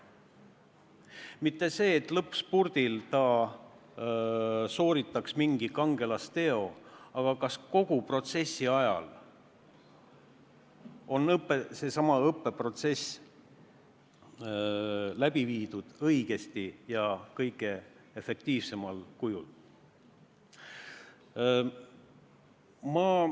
Mitte see, et ta sooritaks lõpuspurdil mingi kangelasteo, vaid kas kogu õppeprotsess on läbi viidud õigesti ja kõige efektiivsemal kujul.